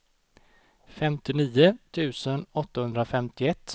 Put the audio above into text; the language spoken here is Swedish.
femtionio tusen åttahundrafemtioett